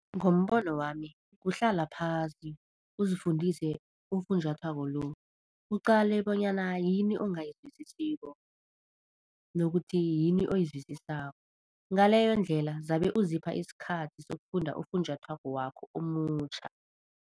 Ngombono wami kuhlala phasi uzifundise ufunjathwako lo, uqale bonyana yini ongayizwisisiko nokuthi yini oyizwisisako ngaleyo ndlela zabe uzipha isikhathi sokufunda ufunjathwako wakho omutjha.